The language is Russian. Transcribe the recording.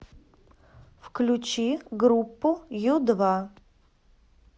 включи группу ю два